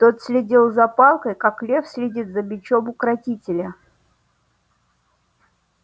тот следил за палкой как лев следит за бичом укротителя